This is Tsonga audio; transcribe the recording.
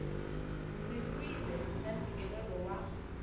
ndzi lwile na ntshikelelo wa